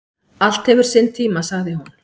"""Allt hefur sinn tíma, sagði hún."""